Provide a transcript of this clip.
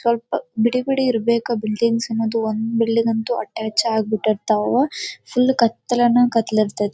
ಸ್ವಲ್ಪ ಬಿಡಿ ಬಿಡಿ ಇರ್ಬೇಕಾ ಬಿಲ್ಡಿಂಗ್ ಸ್ ಅನ್ನೊದು ಒಂದು ಬಿಲ್ಡಿಂಗ್ ಅಂತೂ ಅಟ್ಟ್ಯಾಚ್ ಆಗಿ ಬಿಟ್ಟಿರ್ತಾವ ಅವ್ ಫುಲ್ ಕತ್ತಲೆ ಅನ್ನು ಕತ್ತೆಲೆ ಇರತೈತಿ.